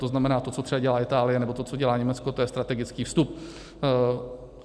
To znamená to, co třeba dělá Itálie, nebo to, co dělá Německo, to je strategický vstup.